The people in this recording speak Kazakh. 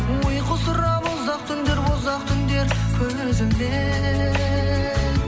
ұйқы сұрап ұзақ түндер ұзақ түндер көз ілмей